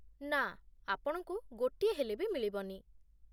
ନା, ଆପଣଙ୍କୁ ଗୋଟିଏ ହେଲେ ବି ମିଳିବନି ।